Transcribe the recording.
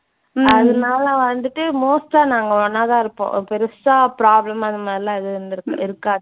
அதனால வந்துட்டு most ஆ நாங்க ஒன்னாதான் இருப்போம். அஹ் பெருசா problem அந்த மாதிரியெல்லாம் எதுவும் இருந்திருக் இருக்காது.